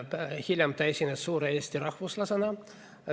Hiljem ta esines suure eesti rahvuslasena.